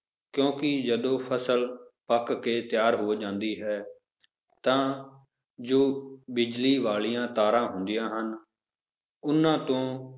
ਕਿਉਂਕਿ ਜਦੋਂ ਫਸਲ ਪੱਕ ਕੇ ਤਿਆਰ ਹੋ ਜਾਂਦੀ ਹੈ ਤਾਂ ਜੋ ਬਿਜ਼ਲੀ ਵਾਲੀਆਂ ਤਾਰਾਂ ਹੁੰਦੀਆਂ ਹਨ, ਉਹਨਾਂ ਤੋਂ